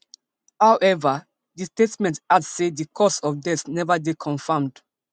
howeva di statement add say di cause of death neva dey confamed